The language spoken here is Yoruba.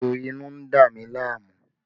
Ejò inú ń dá mi láàmú